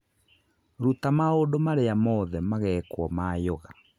Ruta maũndũ marĩa mothe magekwo ma yoga